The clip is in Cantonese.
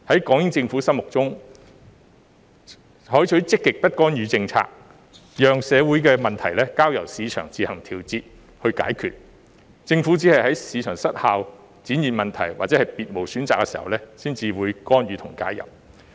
港英政府是採取積極不干預政策，社會問題是交由市場自行調節和解決，政府只是在市場失效、出現問題或別無選擇時，才會干預和介入。